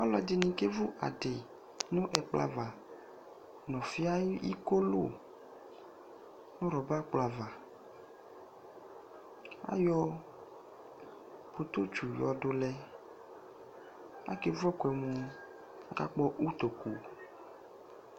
Alʋ ɛdɩnɩi kevʋbadi nʋ ɛkplɔ ava nʋ ɔfi ayʋ ikolʋ nʋ rɔba ɛkplɔ ava ayɔ pokotsi yɔdʋlɛ kevʋ ɛkʋɛmʋ akakpɔ ʋtokʋ